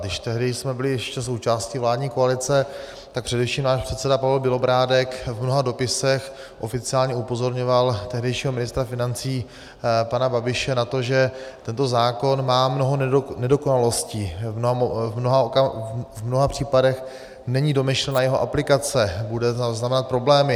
Když tehdy jsme byli ještě součástí vládní koalice, tak především náš předseda Pavel Bělobrádek v mnoha dopisech oficiálně upozorňoval tehdejšího ministra financí pana Babiše na to, že tento zákon má mnoho nedokonalostí, v mnoha případech není domyšlena jeho aplikace, bude znamenat problémy.